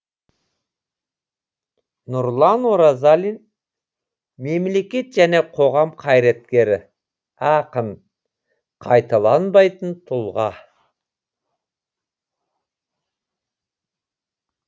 нұрлан оразалин мемлекет және қоғам қайраткері ақын қайталанбайтын тұлға